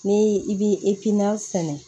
Ni i bi sɛnɛ